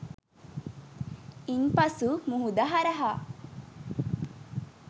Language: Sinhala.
ඉන් පසු මුහුද හරහා